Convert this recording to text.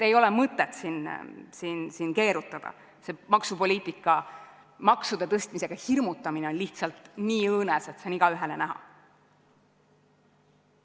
Ei ole mõtet siin keerutada, see maksupoliitika ja maksude tõstmisega hirmutamine on lihtsalt nii õõnes, et see on igaühele näha.